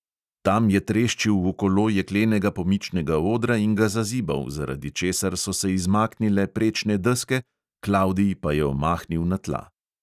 Tam je treščil v kolo jeklenega pomičnega odra in ga zazibal, zaradi česar so se izmaknile prečne deske, klavdij pa je omahnil na tla.